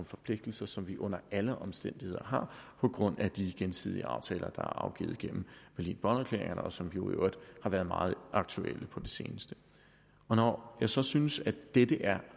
forpligtelser som vi under alle omstændigheder har på grund af de gensidige aftaler der er afgivet igennem berlin bonn erklæringerne og som jo i øvrigt har været meget aktuelle på det seneste når jeg så synes at dette er